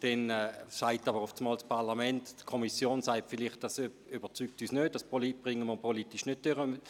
Die Kommission sagt vielleicht, dies überzeuge sie nicht, weil man es politisch nicht durchbringe.